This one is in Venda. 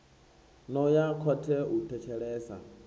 no ya khothe u thetshelesa